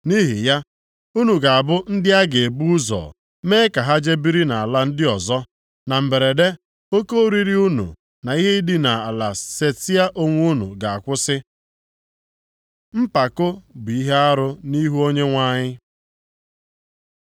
Nʼihi ya, unu ga-abụ ndị a ga-ebu ụzọ mee ka ha jee biri nʼala ndị ọzọ. Na mberede, oke oriri unu na idina ala setịa onwe unu ga-akwụsị. Mpako bụ ihe arụ nʼihu Onyenwe anyị